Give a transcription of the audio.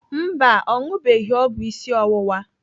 Mba, ọ ṅụbeghị ọgwụ isi ọwụwa.